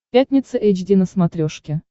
пятница эйч ди на смотрешке